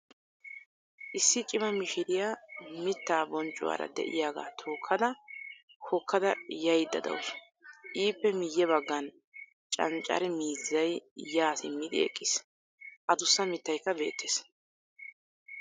Issi cima mishiriyaa mittaa bonccuwaara de'iyaga tookada hokkada yayaida dawusu. Ippe miyye baggan canccare miizzay yaa simmidi eqqiis. Adussa mittaykka beettees.